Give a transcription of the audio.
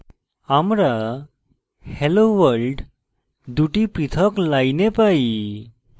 আমরা hello world দুটি পৃথক lines পাই